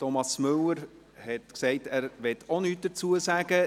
Thomas Müller hat gesagt, er wolle auch nichts dazu sagen.